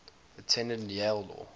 attended yale law